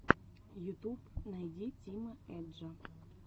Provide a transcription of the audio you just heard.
ютуб найди тима эджа